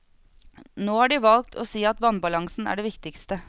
Nå har de valgt å si at vannbalansen er det viktigste.